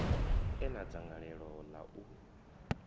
e na dzangalelo ḽa u